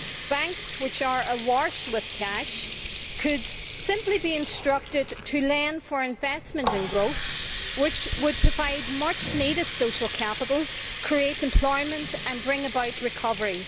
Banks, which are awash with cash, could simply be instructed to lend for investment and growth, which would provide much needed social capital, create employment and bring about recovery.